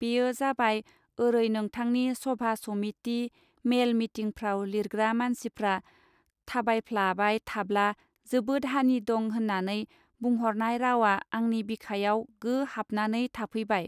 बेयो जाबाय ओरै नोंथांनि सभा समिटि मेल मिटिंफ्राव लिरग्रा मानसिफ्रा थाबायफलाबाय थाब्ला जोबोद हानि दं होननानै बुंहरनाय रावआ आंनि बिखायाव गो हाबनानै थाफैबाय.